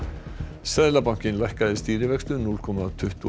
seðlabankinn lækkaði stýrivexti um núll komma tuttugu og